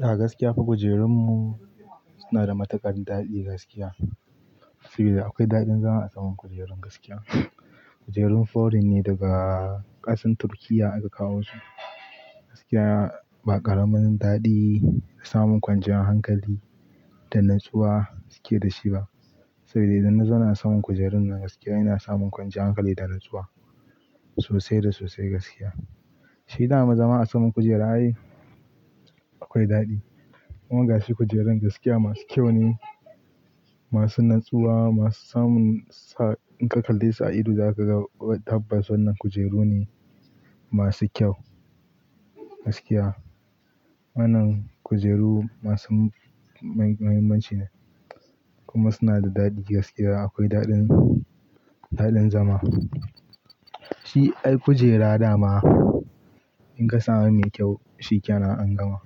A gaskiya fa kujerunmu suna da matuƙar daɗi gaskiya. Saboda akwai daɗin zama a saman kujerun gaskiya. Kujerun foreign ne daga ƙasan Turkiyya aka kawo su. Gaskiya ba ƙaramin daɗi da samun ƙwanciyar hankali da natsuwa suke da shi ba. Saboda idan na zauna a saman kujerun nan gaskiya ina samun ƙwanciyar hankali da nutsuwa sosai da sosai gaskiya. Shi daman zama saman kujera ai akwai daɗi. Amma gashi kujerun gaskiya masu kyau ne, masu natsuwa, masu samun sa in ka kalle su a ido, za ka ga tabbas wannan kujeru ne masu kyau gaskiya. Wannan kujeru masu muhimmanci ne kuma suna da daɗi gaskiya akwai daɗin, daɗin zama. Shi ai kujera da ma in ka samu mai kyau shikenan an gama.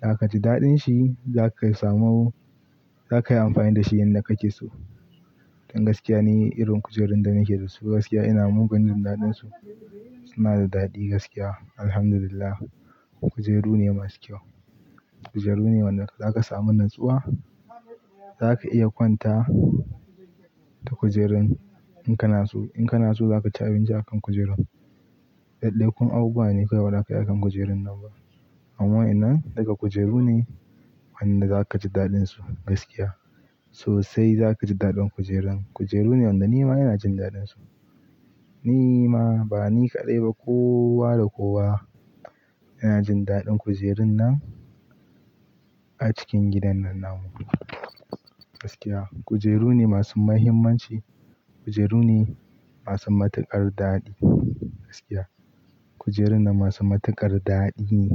Za kaji daɗin shi zaka samu, za kayi amfani da shi yanda kake so. Don gaskiya ne irin kujerun da muke da su gaskiya ina mugun jin daɗin su. Suna da daɗi gaskiya Alhamdulillah. Kujeru ne masu kyau. Kujeru ne wanda za ka samu natsuwa. Za ka iya kwanta ta kujerun in kana so. In kana so za ka ci abinci a kan kujerun. Daddai kun abubuwa ne kawai ba za ka yi a kan kujerun nan ba. Amma wa'yan nan daga kujeru ne wanda za ka ji daɗin su gaskiya. Sosai za ka ji daɗin kujerun. Kujeru ne wanda nima ina jin daɗin su. Ni ma ba ni kaɗai ba kowa da kowa yana jin daɗin kujerun nan a cikin gidan nan namu gaskiya. Kujeru ne masu mahimmanci. Kujeru ne masu matuƙar daɗi gaskiya. Kujerun nan masu matuƙar daɗi ne.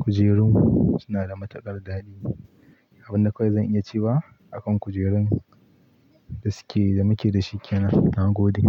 Kujerun suna da matuƙar daɗi. Abin da akwai zan iya cewa akan kujerun da suke da muke da shi kenan na gode.